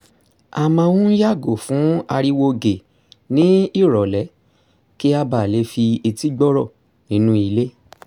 a mán n yàgò fún ariwo gè ní ìrọ̀lẹ́ kí a ba lè fi etí gbọ́rọ̀ nínú ilé